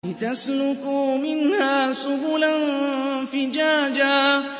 لِّتَسْلُكُوا مِنْهَا سُبُلًا فِجَاجًا